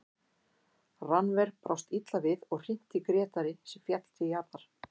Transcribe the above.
Rannver brást illa við og hrinti Grétari sem féll til jarðar.